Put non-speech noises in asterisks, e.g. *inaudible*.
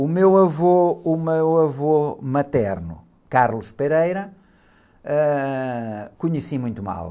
O meu avô, o meu avô materno, *unintelligible* ãh, conheci muito mal.